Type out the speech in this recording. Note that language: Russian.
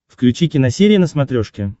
включи киносерия на смотрешке